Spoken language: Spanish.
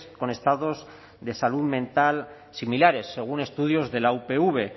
con estados de salud mental similares según estudios de la upv